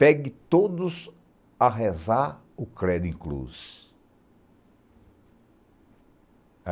Pegue todos a rezar o Credo Inclus.